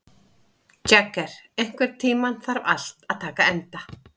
Jagger, einhvern tímann þarf allt að taka enda.